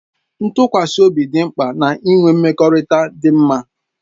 Ntụkwasị obi dị mkpa na-ịnwe mmekọrịta dị mma